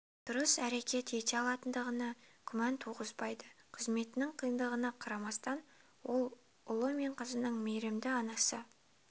дұрыс әрекет ете алатындығына күмән туғызбайды қызметтің қиындығына қарамастан ол ұлы мен қызының мейірімді анасы